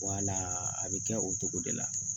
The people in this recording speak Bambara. a bɛ kɛ o cogo de la